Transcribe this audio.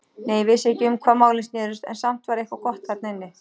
Nei, ég vissi ekki um hvað málin snerust, en samt var eitthvað gott þarna inni.